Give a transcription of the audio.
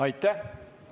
Aitäh!